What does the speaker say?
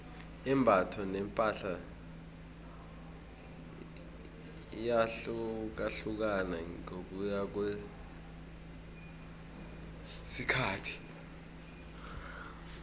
imbatho nepahla iyahlukahlukana ngokuya ngokwesikhathi